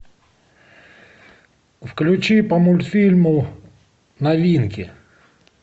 включи по мультфильму новинки